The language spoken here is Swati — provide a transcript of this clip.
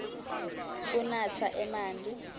kunatsa emanti